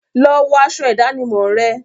Lọ wọ aṣọ ìdánimọ̀ rẹ!